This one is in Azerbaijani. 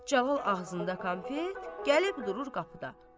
Cəlal ağzında konfet, gəlib durur qapıda.